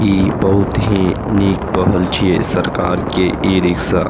इ बहुत ही निक पहल छीये सरकार के ई-रिक्शा ।